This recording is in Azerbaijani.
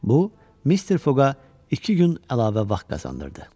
Bu, Mister Foqqa iki gün əlavə vaxt qazandırdı.